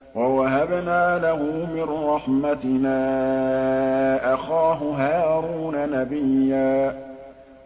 وَوَهَبْنَا لَهُ مِن رَّحْمَتِنَا أَخَاهُ هَارُونَ نَبِيًّا